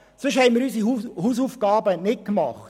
Sonst haben wir unsere Hausaufgaben nicht gemacht.